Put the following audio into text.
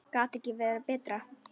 Gæti ekki betra verið.